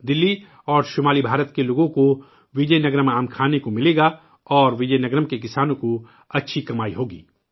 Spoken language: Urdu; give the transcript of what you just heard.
دلی اور شمالی ہند کے لوگوں کو وجے نگرم کے آم کھانے کو ملے گا اور وجے نگرم کے کسانوں کی اچھی کمائی ہوگی